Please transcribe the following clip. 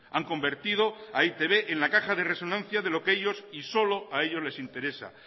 han convertido a e i te be en la caja de resonancia de lo que ellos y solo a ellos les interesa